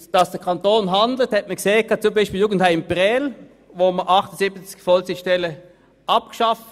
Dass der Kanton handelt, hat man beispielsweise beim Jugendheim Prêles gesehen, wo wir 78 Vollzeitstellen abgebaut haben.